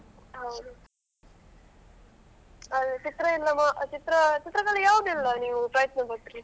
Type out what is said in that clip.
ಹೌದು ಚಿತ್ರ ಆ ಚಿತ್ರದಲ್ಲಿ ಯಾವದೆಲ್ಲ ನೀವು ಪ್ರಯತ್ನ ಪಟ್ರಿ?